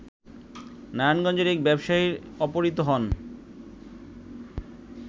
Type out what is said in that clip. নারায়ণগঞ্জের এক ব্যবসায়ী অপহৃত হন